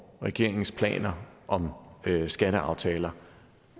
regeringens planer om skatteaftaler